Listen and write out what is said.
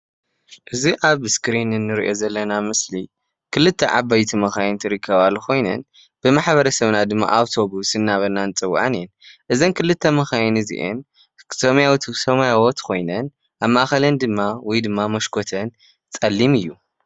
እዚ ኣብ እስክሪን እንሪኦ ዘለና ምስሊ ክልተ ዓበይቲ መኻይን ዝርከባሉ ኮይነን ብማሕበረሰብና ድማ ኣውቶቡስ እናበልና ንፅወዐን እየን። እዘን ክልተ መኻይን እዚአን ሰማያዊት ብ ሰማያዊት ኮይነን ኣብ ማእኸለን ወይ ድማ መስኮተን ድማ ፀሊም እዩ።